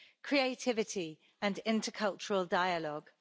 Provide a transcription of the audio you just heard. creativity and intercultural dialogue.